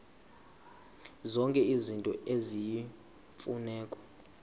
zonke izinto eziyimfuneko